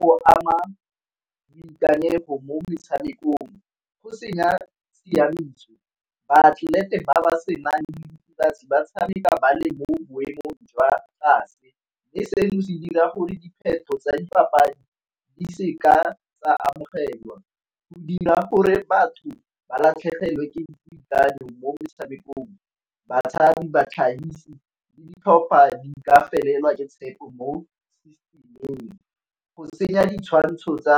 Go ama boikanyego mo metshamekong go senya tshiamiso. Baatlelete ba ba senang diritibatsi ba tshameka ba le mo boemong jwa tlase, mme seno se dira gore dipheto tsa dipapadi di seka tsa amogelwa. Go dira gore batho ba latlhegelwe ke boikanyo mo metshamekong. Batshabi, batlhagisi, le ditlhopha di ka felelwa ka tshepo mo . Go senya ditshwantsho tsa